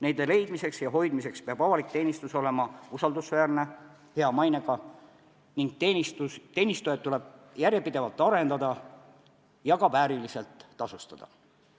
Nende leidmiseks ja hoidmiseks peab avalik teenistus olema usaldusväärne, hea mainega ning teenistujaid tuleb järjepidevalt arendada ja ka vääriliselt tasustada.